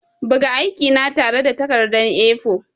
Buga aikina tare da takarda A4.